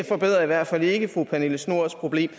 forbedrer i hvert fald ikke fru pernille schnoors problem